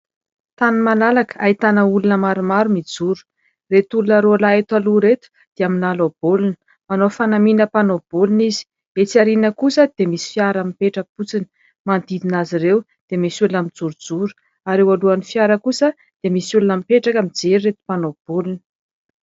Tany malalaka ahitana olona maromaro mijoro, ireto olona roalahy ireto dia milalao baolina, manao fanamiana mpanao baolina izy. Etsy arina kosa dia misy fiara mipetra-potsiny, manodidina azy izy ireo dia misy olona mijorojoro ary eo anoloan'ny fiara kosa dia misy olona mipetraka mijery ireo mpanao baolina.